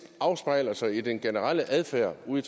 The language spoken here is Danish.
afspejler sig i den generelle adfærd ude